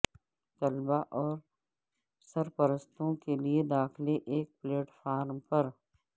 طلبہ اور سرپرستوں کے لیے داخلے ایک پلیٹ فارم پر